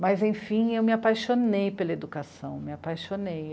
Mas, enfim, eu me apaixonei pela educação, me apaixonei.